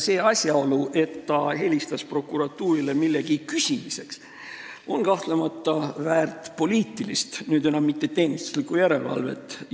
See asjaolu, et minister helistas prokuratuuri millegi küsimiseks, on kahtlemata väärt poliitilise, mitte teenistusliku järelevalve käivitamist.